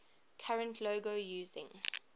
current logo using